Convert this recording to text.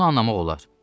Bunu anlamaq olar.